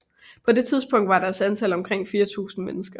På det tidspunkt var deres antal omkring 4000 mennesker